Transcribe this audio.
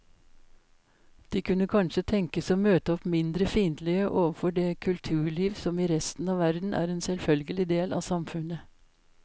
De kunne kanskje tenkes å møte opp mindre fiendtlige overfor det kulturliv som i resten av verden er en selvfølgelig del av samfunnet.